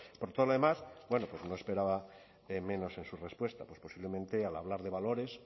por todo lo demás bueno pues no esperaba menos en su respuesta pues posiblemente al hablar de valores